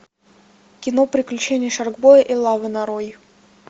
кино приключения шаркбоя и лавы нарой